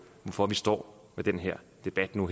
hvorfor vi står med den her debat nu